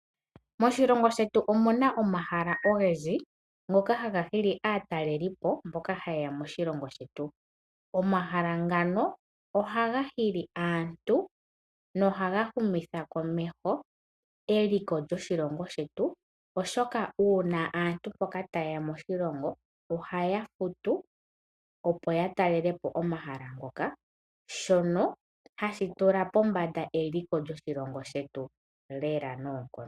Moshilongo shetu omuna omahala ogendji ngoka haga hili aatalelipo mbono ha yeya moshilongo shetu. Omahala ngano ohaga hili aantu nokuhumitha komeho eliko lyoshilongo shetu oshoka aantu mboka sho tayeya ohaya futu oshimaliwa, opo ya talelepo omahala ngo nohashi tula eliko lyoshilongo pombanda.